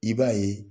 I b'a ye